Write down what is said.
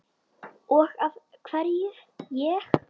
Og af hverju ég?